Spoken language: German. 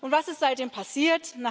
Was ist seitdem passiert?